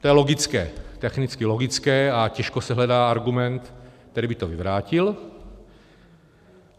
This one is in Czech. - To je logické, technicky logické, a těžko se hledá argument, který by to vyvrátil.